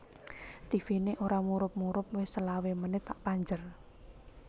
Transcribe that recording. Tivine ora murup murup wis selawe menit tak panjer